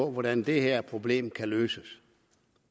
på hvordan det her problem kan løses